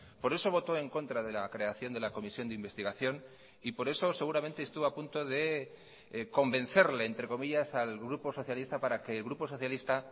por eso votó en contra de la creación de la comisión de investigación y por eso seguramente estuvo a punto de convencerle entre comillas al grupo socialista para que el grupo socialista